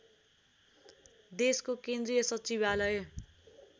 देशको केन्द्रीय सचिवालय